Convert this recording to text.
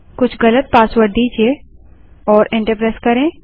कुछ गलत पासवर्ड दीजिए और एंटर प्रेस करें